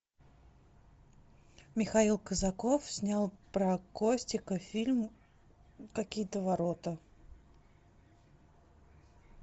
михаил казаков снял про костика фильм какие то ворота